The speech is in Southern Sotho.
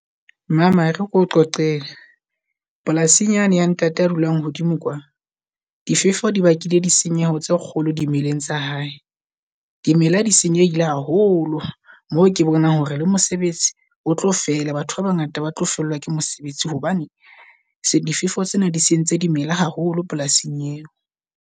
Mama ere keo qoqele polasing yane ya ntate a dulang hodimo kwa. Difefo di bakile di senyeho tse kgolo dimeleng tsa hae. Dimela ha di senyehile haholo moo ke bona hore le mosebetsi o tlo fela. Batho ba bangata ba tlo fellwa ke mosebetsi hobane difefo tsena di sentse di mela haholo polasing eo.